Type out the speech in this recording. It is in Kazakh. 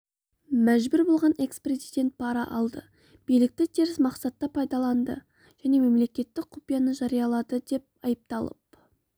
мәжбүр болған экс-президент пара алды билікті теріс мақсатта пайдаланды және мемлекеттік құпияны жариялады деп айыпталып